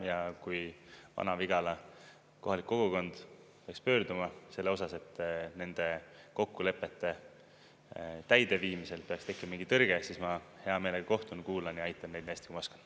Ja kui Vana-Vigala kohalik kogukond peaks pöörduma selle osas, et nende kokkulepete täideviimisel peaks tekkima mingi tõrge, siis ma hea meelega kohtun, kuulan ja aitan neid nii hästi, kui ma oskan.